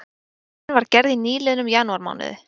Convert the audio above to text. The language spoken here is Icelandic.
Könnunin var gerð í nýliðnum janúarmánuði